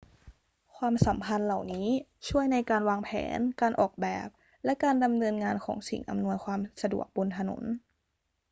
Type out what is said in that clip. ความสัมพันธ์เหล่านี้ช่วยในการวางแผน การออกแบบ และการดำเนินงานของสิ่งอำนวยความสะดวกบนถนน